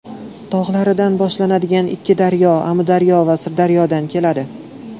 tog‘laridan boshlanadigan ikki daryo: Amudaryo va Sirdaryodan keladi.